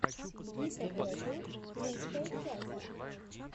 гита бэтл лучшая часть